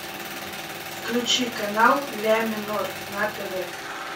включи канал ля минор на тв